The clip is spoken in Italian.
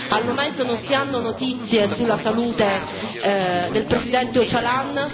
Al momento non si hanno notizie sulla salute del presidente Öcalan.